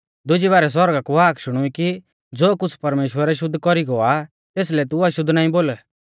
दुजी बारै सौरगा कु हाक शुणुई कि ज़ो कुछ़ परमेश्‍वरै शुद्ध कौरी गौ आ तेसलै तू अशुद्ध नाईं बोल